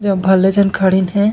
इहा भले झन खड़ीन हे।